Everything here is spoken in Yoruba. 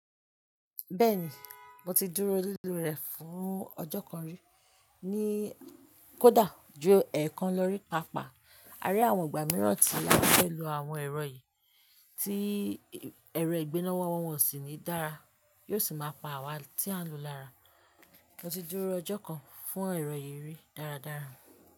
Bẹ́ẹ̀ni, mo ti dúró lílò rẹ̀ fún ọjọ́ kan rí, ní kódà ju ẹẹkan lọ rí, pàápàá. Á rí àwọn ìgbà mìíràn tí a bá fẹ́ lo àwọn ẹ̀rọ yìí, tí ẹ̀rọ ìgbéná wa wọ́n sì ní dára, yóò sì máa pa àwa tí a ń lo lára. Mo ti dúró ọjọ́ kan fún ẹ̀rọ yìí rí dáradára.